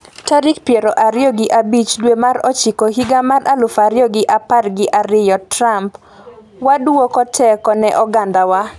tarik piero ariyo gi abich dwe mar ochiko higa mar aluf ariyo gi apar gi ariyo. Trump: Wadwoko teko ne oganda wa